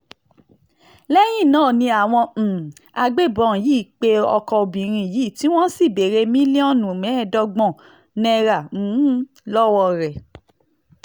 lẹ́yìn náà ni àwọn um agbébọn yìí pe ọkọ obìnrin yìí tí wọ́n sì béèrè mílíọ̀nù mẹ́ẹ̀ẹ́dọ́gbọ̀n náírà um lọ́wọ́ rẹ̀